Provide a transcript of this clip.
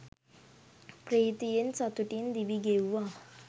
ප්‍රීතියෙන් සතුටින් දිවි ගෙව්වා.